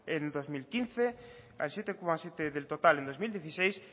en el dos mil quince al siete coma siete del total en dos mil dieciséis